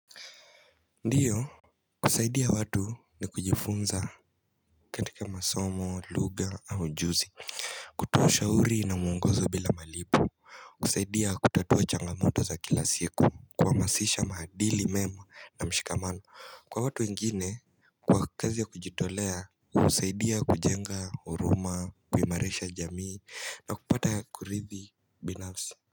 Ndiyo kusaidia watu ni kujifunza katika masomo luga au juzi kutoa shauri na muungozo bila malipu kusaidia kutatuwa changamoto za kila siku kwa masisha mahadili mema na mshikamano Kwa watu wengine kwa kazi ya kujitolea kusaidia kujenga uruma kuimarisha jamii na kupata kuridhi binafsi.